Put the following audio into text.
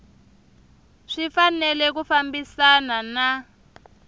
swi fanele ku fambisana na